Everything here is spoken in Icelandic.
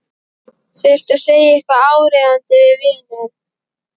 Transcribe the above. Þurfti að segja eitthvað áríðandi við vininn.